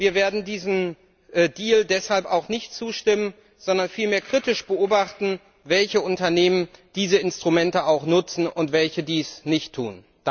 Wir werden diesem Deal deshalb auch nicht zustimmen, sondern vielmehr kritisch beobachten, welche Unternehmen diese Instrumente nutzen und welche dies nicht tun.